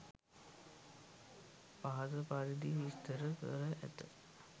පහත පරිදි විස්තර කර ඇත